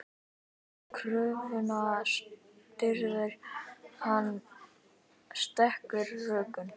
Kröfuna styður hann sterkum rökum.